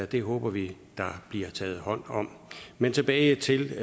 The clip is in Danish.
det håber vi der bliver taget hånd om men tilbage til